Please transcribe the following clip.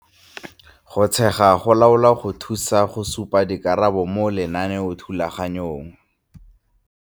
Go tshegetsa go laola go thusa go supa dikarabo mo lenaneothulaganyong.